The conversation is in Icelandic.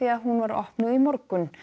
hún var opnuð í morgun